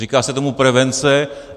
Říká se tomu prevence.